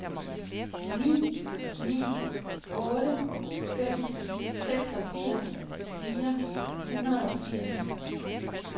ni ni otte fem seksogfirs fire hundrede og firs